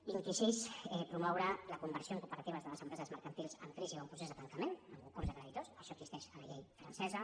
vint i sis promoure la conversió en cooperatives de les empreses mercantils en crisi o en procés de tancament en concurs de creditors això existeix a la llei francesa